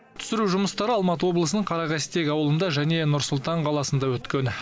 түсіру жұмыстары алматы облысының қарақастек ауылында және нұр сұлтан қаласында өткен